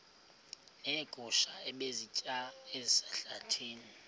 neegusha ebezisitya ezihlahleni